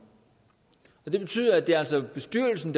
det betyder at det altså er bestyrelsen